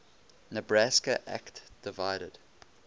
nebraska act divided